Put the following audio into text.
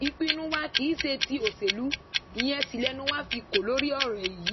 ìpinnu wa kì í ṣe tí òṣèlú ìyẹn sì lẹnu wa fi kó lórí ẹ̀yí